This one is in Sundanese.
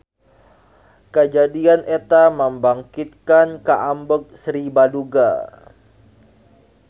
Kajadian eta membangkitkan kaambek Sri Baduga.